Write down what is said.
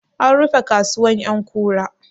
An rufe kasuwar ƴankura?